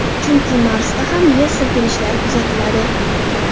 Chunki Marsda ham yer silkinishlari kuzatiladi.